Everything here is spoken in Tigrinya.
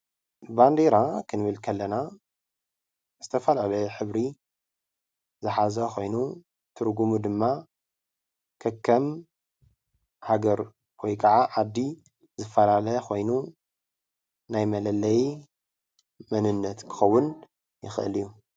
ባንዴራ ክንብል ከለና ዝተፈላለዩ ሕብሪ ዝሓዘ ኮይኑ ትርጉሙ ድማ ከከም ሃገር ወይ ድማ ዓዲ ዝፈላለ ኮይኑ ናይ መለለዪ መንነት ክኸዉን ይኽእል እዪ ።